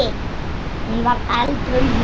Hún var eldrauð í framan.